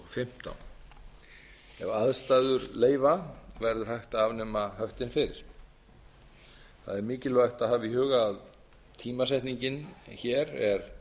ef aðstæður leyfa verður hægt að afnema höftin fyrr það er mikilvægt að hafa í huga að tímasetningin hér er